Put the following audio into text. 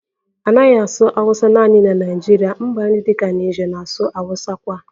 A naghị asụ Awusa naanị na Naịjirịa, mba ndị dị ka Niger na-asụ Awusa kwa